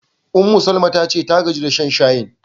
Ummu-Salama ta ce ta gaji da shan shayin.